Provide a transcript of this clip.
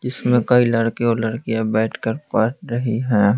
जिसमें कई लड़के और लड़कियां बैठकर पढ़ रही है।